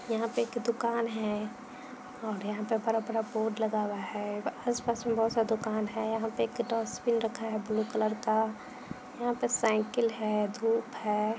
यहाँ पे एक दुकान है और यहाँ पर बड़ा-बड़ा बोर्ड लगा हुआ है। आस-पास में बहुत सारा दुकान है। यहाँ पर एक डस्टबिन रखा है ब्लू कलर का। यहाँ पे साइकिल है धूप है।